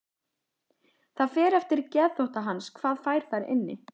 Það fer eftir geðþótta hans hvað fær þar inni.